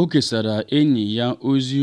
o kesara enyi ya ozi